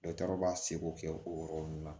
Dɔgɔtɔrɔ b'a seko kɛ o yɔrɔ ninnu na